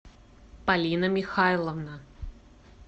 полина михайловна